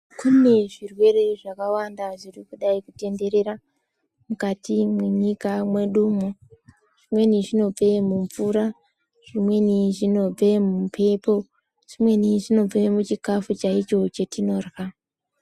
Kune zvirwere zvakawanda zviri kudai kutenderera mukati mwenyika mwedu umwoo zvimweni zvinobve mumvura, zvimweni zvinobve mumbepo, zvimweni zvinobve muchikafu chaicho chatinorya.